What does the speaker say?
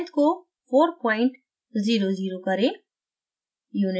length को 400 four point zero zero करें